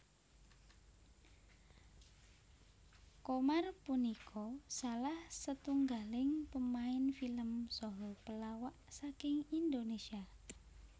Qomar punika salah setunggaling pemain film saha pelawak saking Indonésia